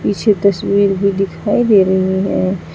पीछे तस्वीर भी दिखाई दे रही हैं।